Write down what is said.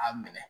A minɛ